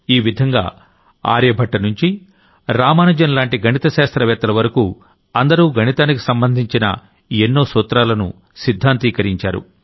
ఈ విధంగా ఆర్యభట్టనుంచి రామానుజం లాంటి గణిత శాస్త్ర వేత్తల వరకూ అందరూ గణితానికి సంబంధించిన న్నో సూత్రాలను సిద్ధాంతీకరించారు